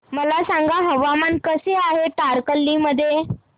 मला सांगा हवामान कसे आहे तारकर्ली मध्ये